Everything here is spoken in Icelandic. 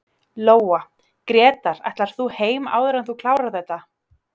Lóa: Grétar ætlar þú heim áður en þú klárar þetta?